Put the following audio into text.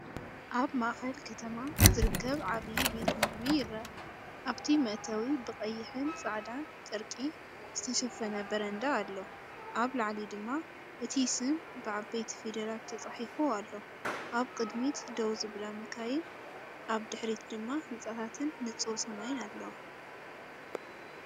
ኣብ ማእከል ከተማ ዝርከብ ዓቢ ቤት ምግቢ ይረአ፤ ኣብቲ መእተዊ ብቐይሕን ጻዕዳን ጨርቂ ዝተሸፈነ በረንዳ ኣሎ፡ኣብ ላዕሊ ድማ እቲ ስም ብዓበይቲ ፊደላት ተጻሒፉ ኣሎ። ኣብ ቅድሚት ደው ዝብላ መካይን፡ ኣብ ድሕሪት ድማ ህንጻታትን ንጹር ሰማይን ኣለዋ።